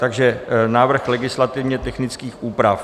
Takže návrh legislativně technických úprav.